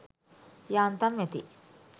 යාන්තම් ඇති